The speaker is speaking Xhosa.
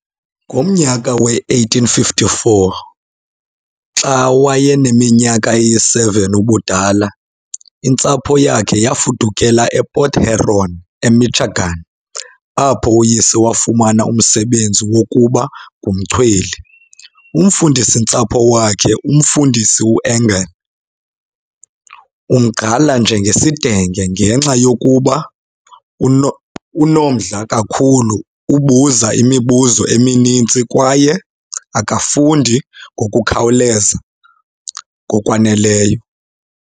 Ngomnyaka we-1854, xa wayeneminyaka eyi-7 ubudala, intsapho yakhe yafudukela ePort Huron, eMichigan apho uyise wafumana umsebenzi wokuba ngumchweli. Umfundisi-ntsapho wakhe, uMfundisi uEngle, umgqala njengesidenge ngenxa yokuba unomdla kakhulu, ubuza imibuzo emininzi kwaye akafundi ngokukhawuleza ngokwaneleyo.